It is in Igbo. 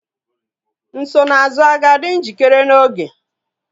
Nsonaazụ a ga-adị njikere n'oge?